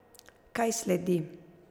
Kaj sledi?